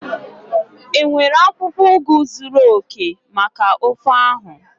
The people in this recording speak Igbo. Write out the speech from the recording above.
Enwere akwukwo ugu zuru oke maka ofe ahụ?